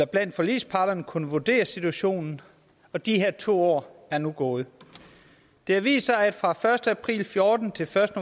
blandt forligsparterne kunne vurdere situationen og de her to år er nu gået det har vist sig at fra første april og fjorten til første